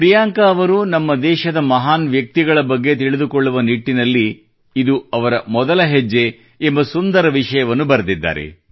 ಪ್ರಿಯಾಂಕಾ ಅವರು ನಮ್ಮ ದೇಶದ ಮಹಾನ್ ವ್ಯಕ್ತಿತ್ವಗಳ ಬಗ್ಗೆ ತಿಳಿದುಕೊಳ್ಳುವ ನಿಟ್ಟಿನಲ್ಲಿ ಇದು ಅವರ ಮೊದಲ ಹೆಜ್ಜೆ ಎಂಬ ಸುಂದರ ವಿಷಯವನ್ನು ಬರೆದಿದ್ದಾರೆ